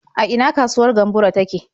A ina kasuwar Gamburo take?